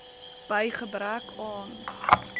by gebrek aan